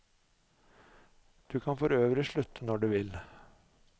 Du kan forøvrig slutte når du vil.